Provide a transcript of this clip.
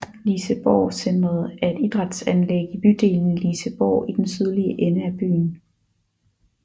Liseborgcentret er et idrætsanlæg i bydelen Liseborg i den sydlige ende af byen